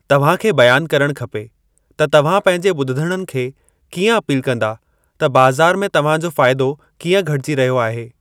तव्हां खे बयान करणु खपे त तव्हां पंहिंजे ॿुधंदड़नि खे कीअं अपील कंदा त बाज़ार में तव्हां जो फ़ाइदो कीअं घटिजी रहियो आहे।